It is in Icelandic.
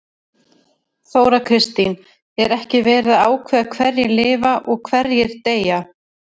Þóra Kristín: Er ekki verið að ákveða hverjir lifa og hverjir deyja?